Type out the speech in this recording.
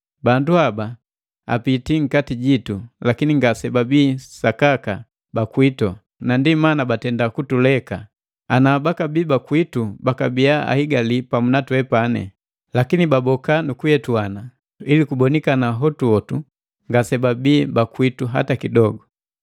Bandu haba apitii nkati jitu lakini ngasebabii sakaka bakwitu na ndii mana batenda kutuleka; ana bakabii bakwitu bakabia ahigali pamu na twepani. Lakini baboka, nukuyetuana, ili kubonikana hotuhotu ngasebabii bakwitu hata kidogo.